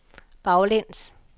baglæns